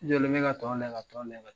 Yani, ne ka tɔn lajɛ ka tɔn lajɛ.